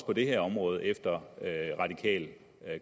på det her område efter radikal